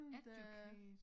Educate